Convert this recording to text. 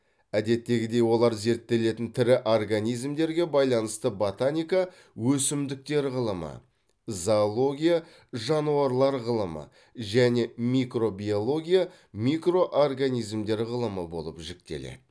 әдеттегідей олар зерттелетін тірі организмдерге байланысты ботаника өсімдіктер ғылымы зоология жануарлар ғылымы және микробиология микроорганизмдер ғылымы болып жіктеледі